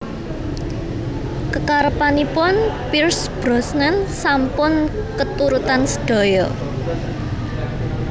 Kekarepanipun Pierce Brosnan sampun keturutan sedaya